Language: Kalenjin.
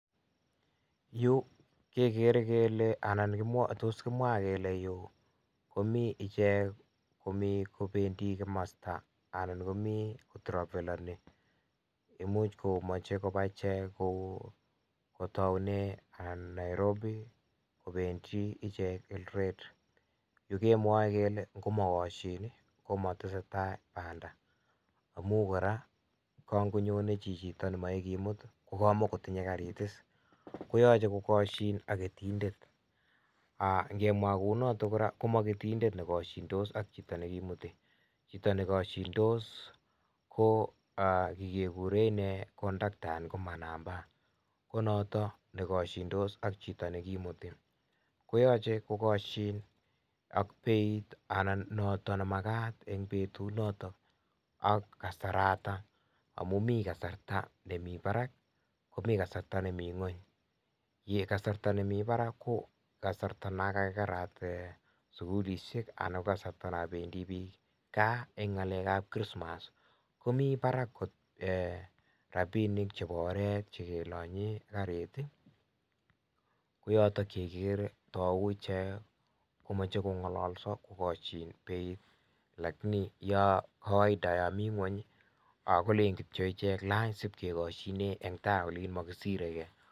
Yu kegere kele, anan tos kimwa kele yu komii ichek komi kopendi komosta, anan komii travellani imuch komache kopaa ichek kou kotaune Nairobi kopendi ichek Eldoret, yu kemwoe kele komagoshin komatesetei panda amu koraa kangonyoni chichitok nemae kemut kogamae kotunye karit, koyache kogashin ak ketindet, ngemwa kou notok koraa ko a ketindet nekashindos ak chito neimuti chito nekashindos ko chichekegure inee kondakta ko manamba ko notok nekashindos ak chito nekimuti koyache kogashin ak beit anan notok nemakat eng' petut notok ak kasaratak amun mi kasarta nemii parak komii kasarta nemii ng'eny, kartat nemii parak ko kasarta nekakerat sugulisiek anan kasarta nependi piik kaa eng' ng'alek ab krismas komii parak rapinik chepo oret chekelanye karit ko yotok ye igere tou ichek komache kong'alalso kogoshin beit lakini yo kawaida yo mi ng'weny kolin kityo ichek "lany si ship kegoshine eng' tai olin makisire gei".